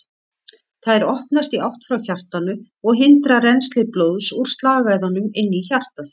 Þær opnast í átt frá hjartanu og hindra rennsli blóðs úr slagæðunum inn í hjartað.